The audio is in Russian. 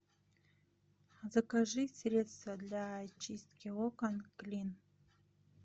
закажи средство для чистки окон клин